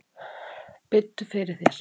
Biddu fyrir þér!